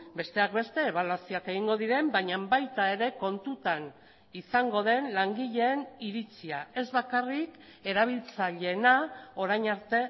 besteak beste ebaluazioak egingo diren baina baita ere kontutan izango den langileen iritzia ez bakarrik erabiltzaileena orain arte